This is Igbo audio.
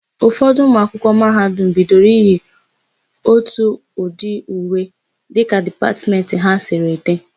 Ụfọdụ ụmụakwụkwọ mahadum bidoro iyi ótù ụdị uwe dịka dipatmentị ha siri dị.